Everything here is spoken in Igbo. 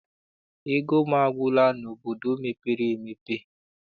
Ego m agwụla n'obodo mepere emepe.